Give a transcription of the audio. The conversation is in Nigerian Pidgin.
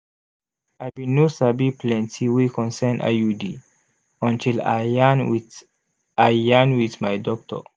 i bin no sabi plenti wey concern iud until i yarn wit i yarn wit my doctor